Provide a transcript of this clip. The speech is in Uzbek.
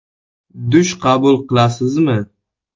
Dush qabul qilasizmi?